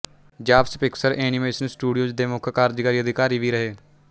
Jobs Pixar animation studios ਦੇ ਮੁੱਖ ਕਾਰਜਕਾਰੀ ਅਧਿਕਾਰੀ ਵੀ ਰਹੇ